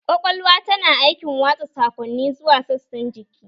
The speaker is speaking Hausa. Kwakwalwa tana aikin watsa saƙonni zuwa sassan jiki